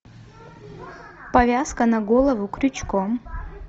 повязка на голову крючком